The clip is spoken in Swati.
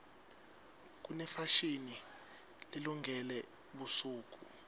kunefashini lelungele busuku